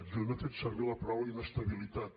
jo no he fet servir la paraula inestabilitat